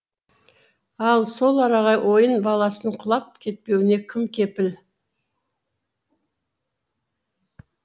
ал сол араға ойын баласының құлап кетпеуіне кім кепіл